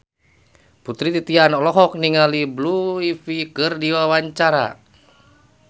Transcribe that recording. Putri Titian olohok ningali Blue Ivy keur diwawancara